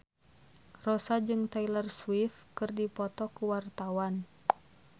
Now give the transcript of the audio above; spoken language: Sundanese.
Rossa jeung Taylor Swift keur dipoto ku wartawan